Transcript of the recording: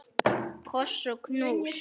Koss og knús.